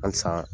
Halisa